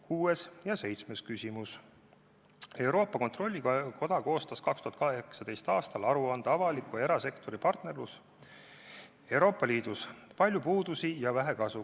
Kuues küsimus: "Euroopa Kontrollikoda koostas 2018. aastal aruande "Avaliku ja erasektori partnerlus EL-is: palju puudusi ja vähe kasu".